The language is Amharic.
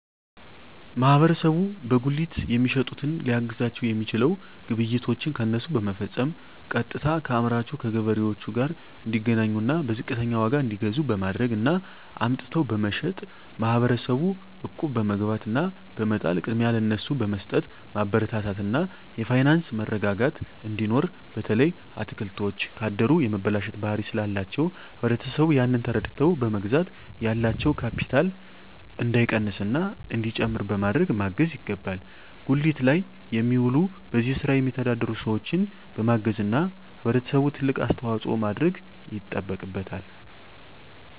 ማህበረሰቡ በጉሊት የሚሸጡትን ሊያግዛቸዉ የሚችለዉ ግብይቶችን ከነሱ በመፈፀም ቀጥታከአምራቹ ከገበሬዎቹ ጋር እንዲገናኙና በዝቅተኛ ዋጋ እንዲገዙ በማድረግ እና አምጥተዉ በመሸጥ ማህበረሰቡ እቁብ በመግባት እና በመጣል ቅድሚያ ለነሱ በመስጠትማበረታታት እና የፋይናንስ መረጋጋት እንዲኖር በተለይ አትክልቶች ካደሩ የመበላሸት ባህሪ ስላላቸዉ ህብረተሰቡ ያንን ተረድተዉ በመግዛት ያላቸዉ ካቢታል እንዳይቀንስና እንዲጨምር በማድረግ ማገዝ ይገባል ጉሊት ላይ የሚዉሉ በዚህ ስራ የሚተዳደሩ ሰዎችን በማገዝና ህብረተሰቡ ትልቅ አስተዋፅኦ ማድረግ ይጠበቅበታል